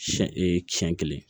Siɲɛ e siyɛn kelen